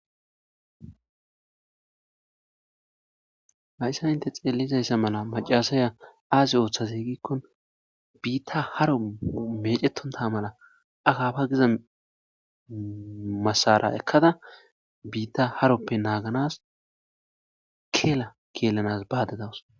Hayssan hintte xeeliza mala maccashiya aazi oothaze biitay haron mecetontta mala akaapa giza maasara oykada biita harope ashanas keela keelanas baydda dawus.